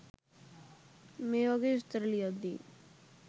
මේ වගේ විස්තර ලියද්දි